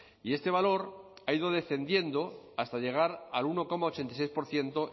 y este valor ha ido descendiendo hasta llegar al uno coma ochenta y seis por ciento